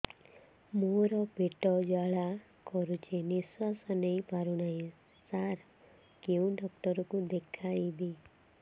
ମୋର ପେଟ ଜ୍ୱାଳା କରୁଛି ନିଶ୍ୱାସ ନେଇ ପାରୁନାହିଁ ସାର କେଉଁ ଡକ୍ଟର କୁ ଦେଖାଇବି